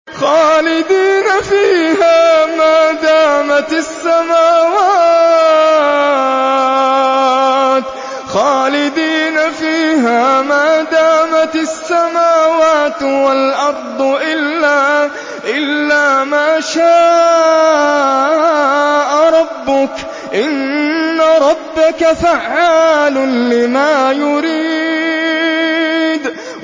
خَالِدِينَ فِيهَا مَا دَامَتِ السَّمَاوَاتُ وَالْأَرْضُ إِلَّا مَا شَاءَ رَبُّكَ ۚ إِنَّ رَبَّكَ فَعَّالٌ لِّمَا يُرِيدُ